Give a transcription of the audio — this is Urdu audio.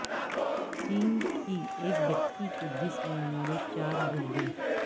چین کی ایک بچی کے جسم میں ملیں چار گردے